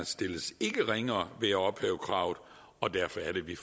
stilles ringere ved at ophæve kravet og derfor er det vi